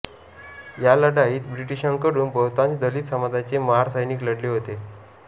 या लढाईत ब्रिटिशांकडून बहुतांश दलित समाजाचे महार सैनिक लढले होते